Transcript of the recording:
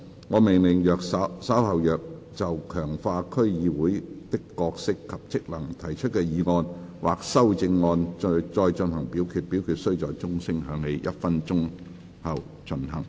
我命令若稍後就"強化區議會的角色及職能"所提出的議案或修正案再進行點名表決，表決須在鐘聲響起1分鐘後進行。